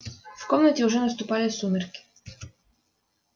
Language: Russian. в комнате уже наступали сумерки